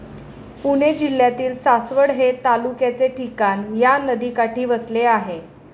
पुणे जिल्ह्यातील सासवड हे तालुक्याचे ठिकाण या नदीकाठी वसले आहे.